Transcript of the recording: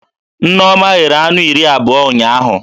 Nneoma ghere anụ iri abụọ ụnyaahụ